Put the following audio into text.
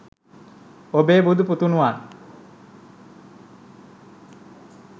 ඔබේ බුදු පුතුණුවන්